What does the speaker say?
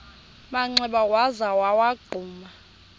manxeba waza wagquma